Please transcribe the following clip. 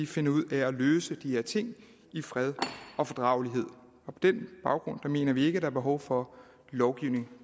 finder ud af at løse de her ting i fred og fordragelighed på den baggrund mener vi ikke at der er behov for lovgivning